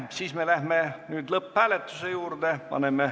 Siis me läheme lõpphääletuse juurde.